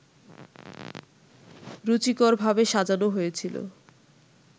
রুচিকরভাবে সাজানো হয়েছিল